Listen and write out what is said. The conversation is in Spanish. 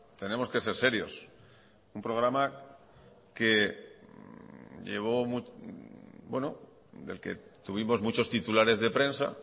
tenemos que ser serios un programa del que tuvimos muchos titulares de prensa